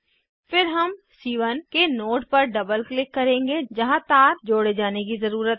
फिर हम सी1 के नोड पर डबल क्लिक करेंगे जहाँ तार जोड़े जाने की ज़रुरत है